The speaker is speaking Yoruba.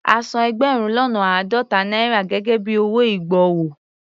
A san ẹgbẹ̀rún lọ́nà àádọ́ta náírà gẹ́gẹ́ bí owó ìgbọ̀wọ́.